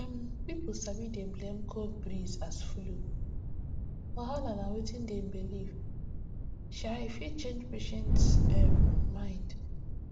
um pipo sabi dey blame cold breeze as flu wahala na wetin dem believe um e fit change patient um mind